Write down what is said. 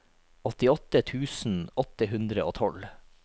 åttiåtte tusen åtte hundre og tolv